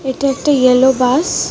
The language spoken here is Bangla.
এটা একটা ইয়েলো বাস .